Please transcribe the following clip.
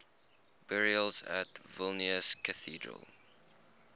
burials at vilnius cathedral